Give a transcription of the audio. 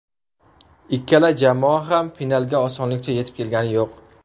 Ikkala jamoa ham finalga osonlikcha yetib kelgani yo‘q.